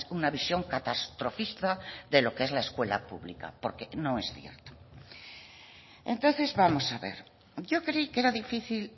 una visión catastrofista de lo que es la escuela pública porque no es cierto entonces vamos a ver yo creí que era difícil